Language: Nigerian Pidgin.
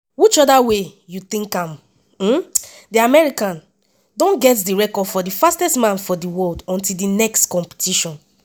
whichever way you tink am di american don get di record for di fastest man for di world until di next competition.